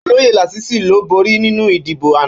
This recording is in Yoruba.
Ólóyé Lasisi ló bórí ninú idibó àná